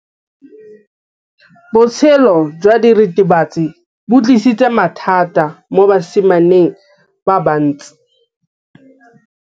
Botshelo jwa diritibatsi ke bo tlisitse mathata mo basimaneng ba bantsi.